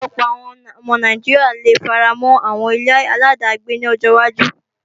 Ọ̀pọ̀lọpọ̀ àwọn ọmọ Nàìjíríà le faramọ́ àwọn ile-aláàdágbé ní ọjọ wájú